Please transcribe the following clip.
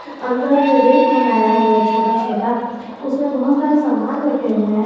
अंदर में रैक बनाया हुआ है छोटा छोटा उसमें बहोत सारे सामान रखे हुए हैं।